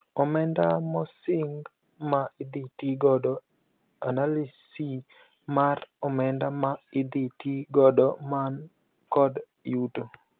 Omenda mosing ma idhii tii godo (analysi mar omenda ma idhii tii godo man kod yuto)